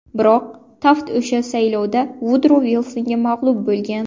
Biroq, Taft o‘sha saylovda Vudro Vilsonga mag‘lub bo‘lgan.